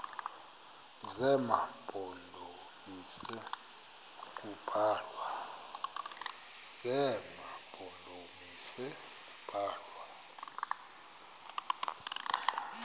zema mpondomise kubalwa